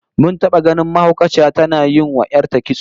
Mun taba ganin mahaukaciya tana yinwa 'yar ta kitso